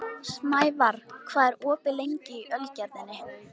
Snævarr, hvað er opið lengi í Ölgerðinni?